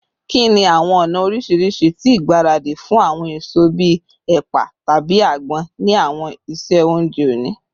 Kini awọn ọna oriṣiriṣi ti igbaradi fun awọn eso bii ẹpa tabi agbon ni awọn iṣe ounjẹ oni?